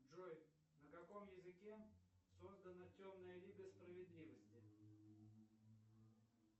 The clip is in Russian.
джой на каком языке создана темная лига справедливости